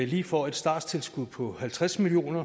lige får et starttilskud på halvtreds million